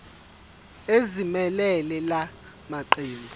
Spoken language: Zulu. ezimelele la maqembu